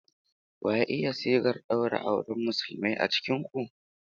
Wa ya iya sigar daura auren Musulmai a cikin ku?